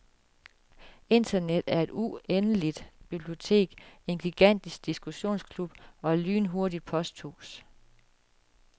Internet er et uendeligt bibliotek, en gigantisk diskussionsklub og et lynhurtigt posthus.